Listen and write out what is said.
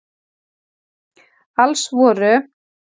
Alls voru